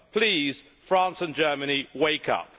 Please, France and Germany, wake up!